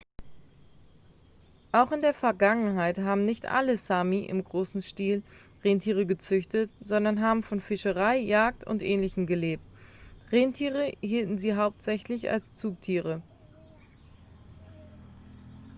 auch in der vergangenheit haben nicht alle sámi im großen stil rentiere gezüchtet sondern haben von fischerei jagd und ähnlichem gelebt. rentiere hielten sie hauptsächlich als zugtiere